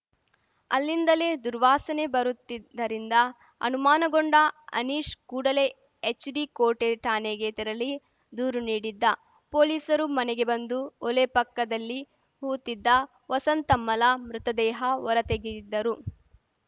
ಅಲ್ಲಿಂದಲೇ ದುರ್ವಾಸನೆ ಬರುತ್ತಿದ್ದರಿಂದ ಅನುಮಾನಗೊಂಡ ಅನೀಶ್‌ ಕೂಡಲೇ ಎಚ್‌ಡಿಕೋಟೆ ಠಾಣೆಗೆ ತೆರಳಿ ದೂರು ನೀಡಿದ್ದ ಪೊಲೀಸರು ಮನೆಗೆ ಬಂದು ಒಲೆ ಪಕ್ಕದಲ್ಲಿ ಹೂತಿದ್ದ ವಸಂತಮ್ಮಲ ಮೃತದೇಹ ಹೊರತೆಗೆಯುದಿದ್ದರು